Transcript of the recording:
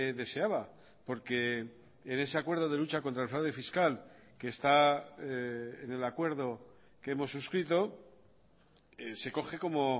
deseaba porque en ese acuerdo de lucha contra el fraude fiscal que está en el acuerdo que hemos suscrito se coge como